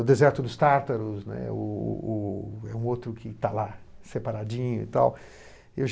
O Deserto dos Tátaros, né, o o o é um outro que está lá, separadinho e tal. Eu